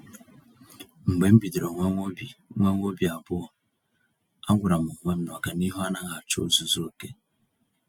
Mgbe m bidoro nwewa obi nwewa obi abụọ, a gwàrà m onwe m na ọganihu anaghị achọ ozuzu oke.